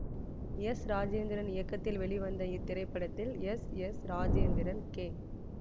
S Rajendran இயக்கத்தில் வெளிவந்த இத்திரைப்படத்தில் எஸ் எஸ் ராஜேந்திரன் கே